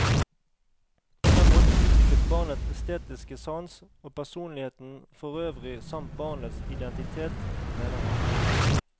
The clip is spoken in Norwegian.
På den måten utvikles barnets estetiske sans, og personligheten forøvrig samt barnets identitet, mener han.